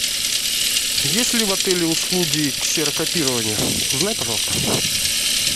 есть ли в отеле услуги ксерокопирования узнай пожалуйста